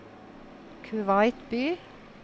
Kuwait by